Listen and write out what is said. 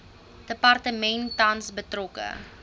departement tans betrokke